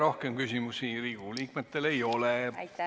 Rohkem küsimusi Riigikogu liikmetel ei ole.